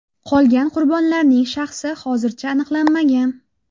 Qolgan qurbonlarning shaxsi hozircha aniqlanmagan.